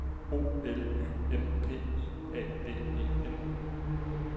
O L Y M P I A D E N